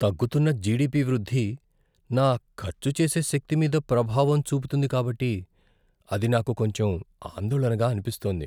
తగ్గుతున్న జిడిపి వృద్ధి నా ఖర్చు చేసే శక్తి మీద ప్రభావం చూపుతుంది కాబట్టి అది నాకు కొంచెం ఆందోళనగా అనిపిస్తోంది.